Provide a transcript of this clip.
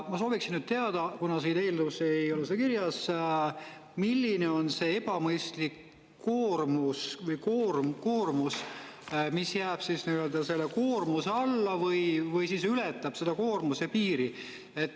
" Ma soovin nüüd teada, kuna siin eelnõus ei ole seda kirjas, milline on see ebamõistlik koormus või koormus, mis jääb nii-öelda selle koormuse alla või ületab seda koormuse piiri.